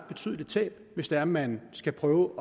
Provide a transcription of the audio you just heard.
betydeligt tab hvis det er man skal prøve